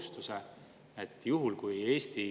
Järgmisel aastal on see 1. juulist, edaspidi 1. maist.